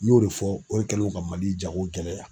N y'o de fɔ, o de kɛlen don ka mali jago gɛlɛya.